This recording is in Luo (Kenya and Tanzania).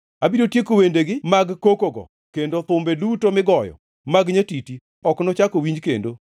Abiro tieko wendegi mag kokogo kendo thumbe duto migoyo mag nyatiti ok nochak owinji kendo.